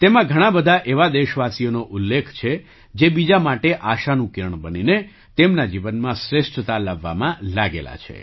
તેમાં ઘણા બધા એવા દેશવાસીઓનો ઉલ્લેખ છે જે બીજા માટે આશાનું કિરણ બનીને તેમના જીવનમાં શ્રેષ્ઠતા 8 લાવવામાં લાગેલા છે